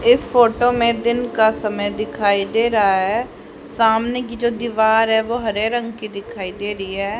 इस फोटो मैं दिन का समय दिखाई दे रहा हैं सामने कि जो दीवार हैं वो हरे रंग कि दिखाई दे रही हैं।